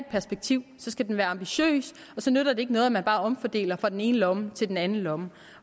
perspektiv være ambitiøs og så nytter det ikke noget at man bare omfordeler fra den ene lomme til den anden lomme